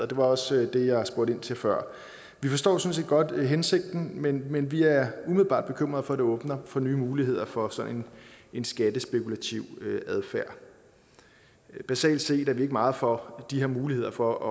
det var også det jeg spurgte ind til før vi forstår sådan set godt hensigten men men vi er umiddelbart bekymrede for at det åbner for nye muligheder for sådan en skattespekulativ adfærd basalt set er vi ikke meget for de her muligheder for at